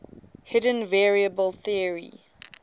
hidden variable theory